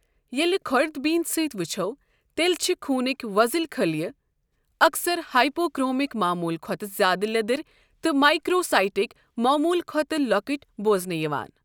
ییٚلہِ خورد بین سۭتۍ ؤچھَو تیٚلہِ چھِ خوُنٕكۍ وو٘ذٕل خلیہ اَکثَر ہائپوکرومک معموٗل کھۄتہٕ زیادٕ لیدٕرِ تہٕ مائکرو سائیٹک معموٗل کھۄتہٕ لۄکٔٹہۍ بوزنہٕ یِوان۔